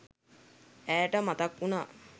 ඈට මතක් වුණා